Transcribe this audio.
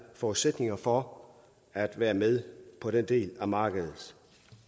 forudsætninger for at være med på den del af markedet